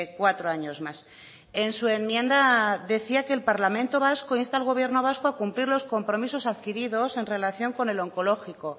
cuatro años más en su enmienda decía que el parlamento vasco insta al gobierno vasco a cumplir los compromisos adquiridos en relación con el onkologiko